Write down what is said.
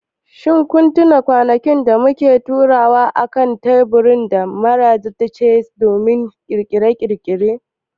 shin ko kun tuna kwanakin da muke taruwa akan taburma da maraice domin Ƙirƙiri?